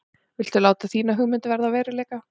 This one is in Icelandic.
Viltu láta þína hugmynd verða að veruleika?